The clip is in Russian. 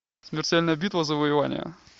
смертельная битва завоевание